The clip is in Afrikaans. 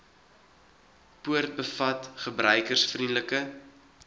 poort bevat gebruikersvriendelike